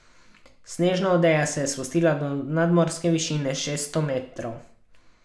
Snežna odeja se je spustila do nadmorske višine šeststo metrov.